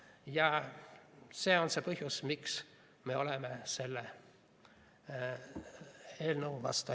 Ja see on põhjus, miks me oleme selle eelnõu vastu.